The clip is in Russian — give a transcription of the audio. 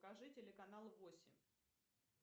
покажи телеканал восемь